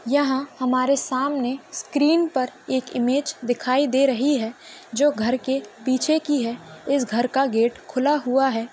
यहा हमारे सामने स्क्रीन पर एक इमेज दिखाई दे रही है जो घर के पीछे की है इस घर का गेट खुला हुआ है।